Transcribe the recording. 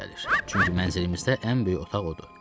Çünki mənzilimizdə ən böyük otaq odur.